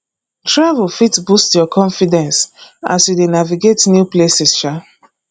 travel fit boost your confidence as you dey navigate new places um